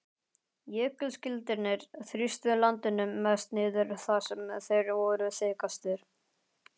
Jökulskildirnir þrýstu landinu mest niður þar sem þeir voru þykkastir.